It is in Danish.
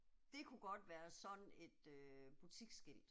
Det kunne godt være sådan et øh butiksskilt